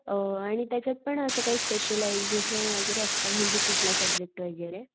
अ आणि त्याच्यात पण असं काही स्पेशलायझेशन वैगेरे असत का म्हणजे कुठला सुबजेक्ट वैगेरे?